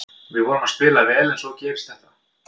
Við vorum að spila vel en svo gerist þetta.